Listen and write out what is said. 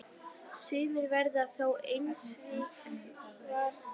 Sumir verða þó einskis varir.